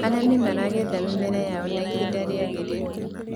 arĩmi maragetha mĩmera yao na ihinda riagiriire